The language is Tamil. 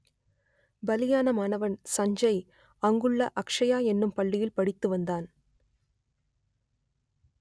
ப‌லியான மாணவ‌ன் ச‌ஞ்ச‌ய் அ‌ங்கு‌ள்ள அக்ஷயா என்னும் பள்ளியில் படித்து வந்தான்